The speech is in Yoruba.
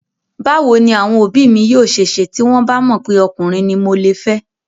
Báwo ni àwọn òbí mi yóò ṣe ṣe tí wọ́n bà mọ̀ pé ọkùnrin ni mo le fẹ́?